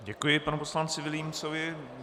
Děkuji panu poslanci Vilímcovi.